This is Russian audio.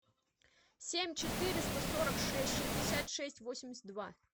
семь четыреста сорок шесть шестьдесят шесть восемьдесят два